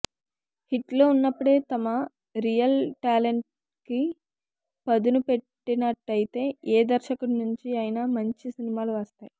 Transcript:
హిట్లో ఉన్నప్పుడే తమ రియల్ టాలెంట్కి పదును పెట్టినట్టయితే ఏ దర్శకుడి నుంచి అయినా మంచి సినిమాలు వస్తాయి